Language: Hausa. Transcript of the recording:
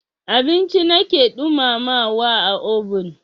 Abinci na ke ɗumamawa a obin.